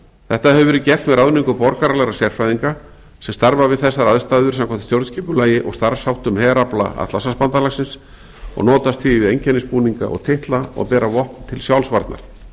þetta hefur verið gert með ráðningu borgaralegra sérfræðinga sem starfa við þessar aðstæður samkvæmt stjórnskipulagi og starfsháttum herafla atlantshafsbandalagsins og notast því við einkennisbúninga og titla og bera vopn til sjálfsvarnar